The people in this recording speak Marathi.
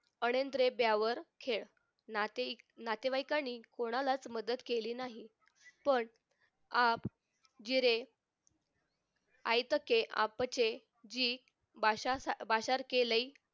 अनिद्रे त्यावर खेळ नाते नातेवाईकांनी कोणालाच मदत केली नाही पण आप गिरे आयतके आपचे वाषार वाषार केले